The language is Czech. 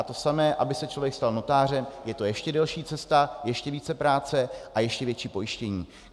A to samé, aby se člověk stal notářem, je to ještě delší cesta, ještě více práce a ještě více pojištění.